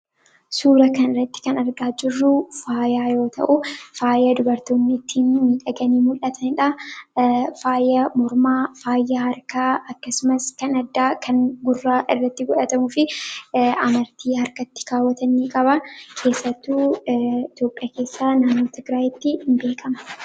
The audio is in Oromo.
Suuraa kanarratti kan argaa jirru faayaa yoo ta'u, faayaa dubartoonni ittiin miidhaganii mul'atanidha. Faaya mormaa, faaya harkaa akkasumas kan addaa , gurra irratti godhatamuu fi amartii harkatti kaawwatan qaba. Keessattuu naannoo Itoophiyaa keessaa tigraayitti beekama.